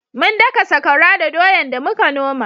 Mun daka sakwara da doyan da muka noma